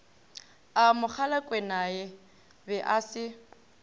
a mogalakwenae be e se